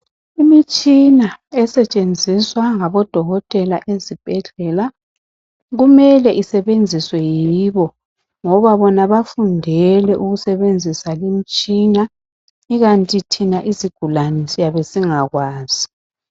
Imitshina esetshenziswa ngabodokotela ezibhedlela kumele isebenziswe yibo ngoba bona bafundele ukusebenzisa le mitshina njalo thina siyabe singakwazi